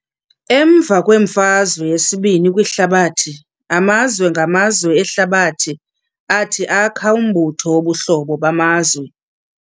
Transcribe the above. Emva kweMfazwe yesi-II kwiHlabathi, amazwe ngamazwe ehlabathi athi akha umbutho wobuhlobo bamazwe.